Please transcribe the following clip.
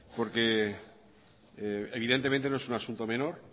porque evidentemente no es un asunto menor